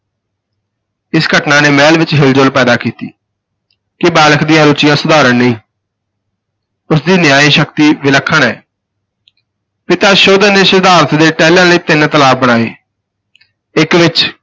ਇਸ ਘਟਨਾ ਨੇ ਮਹਿਲ ਵਿਚ ਹਿਲਜੁਲ ਪੈਦਾ ਕੀਤੀ ਕਿ ਬਾਲਕ ਦੀਆਂ ਰੁਚੀਆਂ ਸਾਧਾਰਣ ਨਹੀਂ ਉਸ ਦੀ ਨਿਆਇ ਸ਼ਕਤੀ ਵਿਲੱਖਣ ਹੈ ਪਿਤਾ ਸਧੋਧਨ ਨੇ ਸਿਧਾਰਥ ਦੇ ਟਹਿਲਣ ਲਈ ਤਿੰਨ ਤਲਾਬ ਬਣਾਏ ਇਕ ਵਿਚ